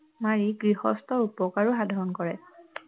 মাৰি গৃহস্থৰ উপকাৰে সাধন কৰে